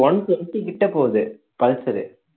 one twenty கிட்ட போகுது Pulsar